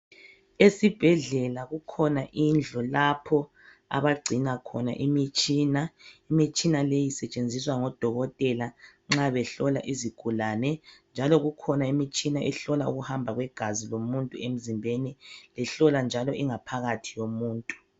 Esibhedlela kukhona indlu lapho abangcina khona imitshina, imitshina le isetshenziswa ngodokotela nxa behlola izigulane njalo kukhona imitshina ehlola ukuhamba kwegazi emizimbeni ihlolanjalo ingaphakathi yomuntu.